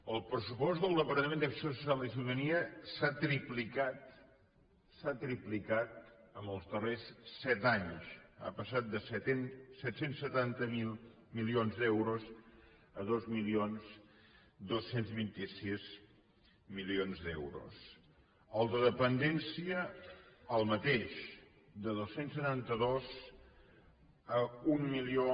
el pressupost del departament d’acció social i ciutadania s’ha triplicat s’ha triplicat en els darrers set anys ha passat de set cents i setanta milions d’euros a dos mil dos cents i vint sis milions d’euros el de dependència el mateix de dos cents i setanta dos a un milió